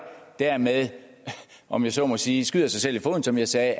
dermed om jeg så må sige skyder sig selv i foden som jeg sagde